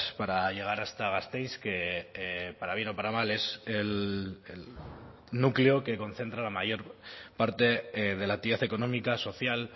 para llegar hasta gasteiz que para bien o para mal es el núcleo que concentra la mayor parte de la actividad económica social